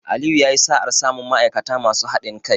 Aliyu yayi sa'ar samun ma'aikata masu haɗin kai.